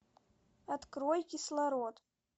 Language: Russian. открой кислород